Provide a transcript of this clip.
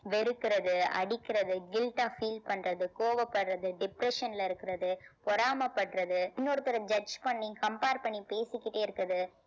வெறுக்கிறது அடிக்கிறது guilt ஆ feel பண்றது கோவப்படுறது depression ல இருக்கிறது பொறாமைப்படுறது இன்னொருத்தரை judge பண்ணி compare பண்ணி பேசிக்கிட்டே இருக்குறது